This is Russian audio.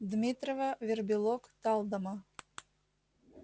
дмитрова вербилок талдома